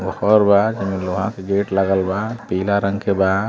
घर बा जेमे लोहा के गेट लागल बा। पिला रंग के बा।